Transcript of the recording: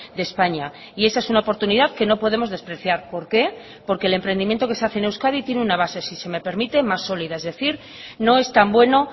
de españa y esa es una oportunidad que no podemos despreciar por qué porque el emprendimiento que se hace en euskadi tiene una base si se me permite más solida es decir no es tan bueno